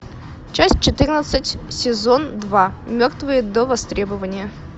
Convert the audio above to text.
часть четырнадцать сезон два мертвые до востребования